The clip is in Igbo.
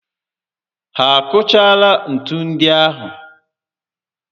Ha akụchaala ntu ndi ahụ?